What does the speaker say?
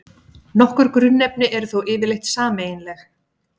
Nokkur grunnefni eru þó yfirleitt sameiginleg.